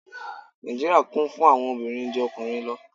Nijíríría Kún fún àwọn òbirin ju ọkunrin lọ